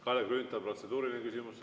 Kalle Grünthal, protseduuriline küsimus.